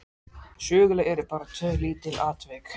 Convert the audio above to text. Söguleg urðu bara tvö lítil atvik.